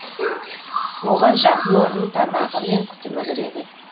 оған жатын орын тамағы мен күтімі кіреді